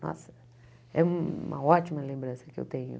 Nossa, é uma ótima lembrança que eu tenho.